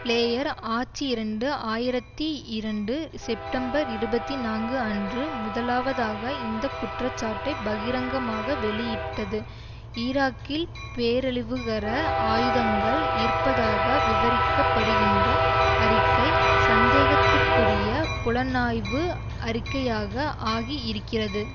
player ஆட்சி இரண்டு ஆயிரத்தி இரண்டு செப்டம்பர்இருபத்தி நான்கு அன்று முதலாவதாக இந்த குற்றச்சாட்டை பகிரங்கமாக வெளியிட்டது ஈராக்கில் பேரழிவுகர ஆயுதங்கள் இருப்பதாக விவரிக்கப்படுகின்ற அறிக்கை சந்தேகத்திற்குரிய புலனாய்வு அறிக்கையாக ஆகி இருக்கிறது